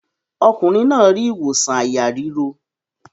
Ọkùnrin náà rí ìwòsàn àyà ríro.